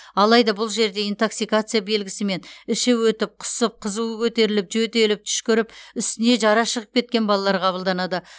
алайда бұл жерде интоксикация белгісімен іші өтіп құсып қызуы көтеріліп жөтеліп түшкіріп үстіне жара шығып кеткен балалар қабылданады